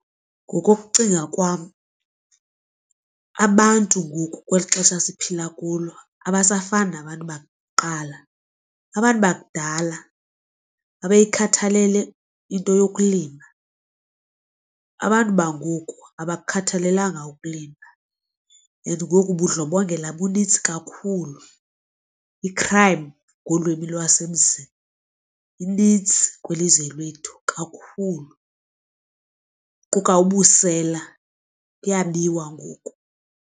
Ngokokucinga kwam abantu ngoku kweli xesha siphila kulo abasafani nabantu bakuqala. Abantu bakudala babeyikhathalele into yokulima. Abantu bangoku abakukhathalelanga ukulima. And ngoku ubundlobongela bunintsi kakhulu i-crime ngolwimi lwasemzini inintsi kwilizwe lethu kakhulu kuquka ubusela kuyabiwa ngoku.